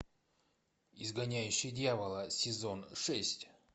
изгоняющий дьявола сезон шесть